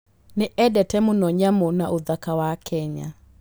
Nĩ eendete mũno nyamũ na ũthaka wa Kenya.